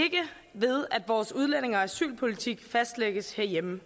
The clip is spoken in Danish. ved at vores udlændinge og asylpolitik fastlægges herhjemme